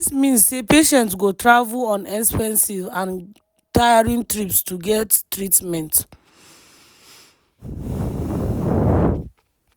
dis mean say patients go travel on expensive and tiring trips to get treatment.